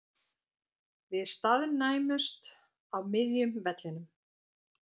Við staðnæmumst á miðjum vellinum.